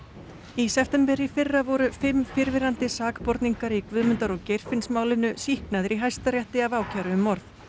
í september í fyrra voru fimm fyrrverandi sakborningar í Guðmundar og Geirfinnsmálinu sýknaðir í Hæstarétti af ákæru um morð